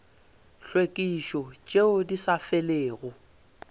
tlhwekišo tšeo di sa felego